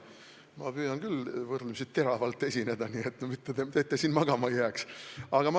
Ma püüan küll võrdlemisi teravalt esineda, et te siin magama ei jääks.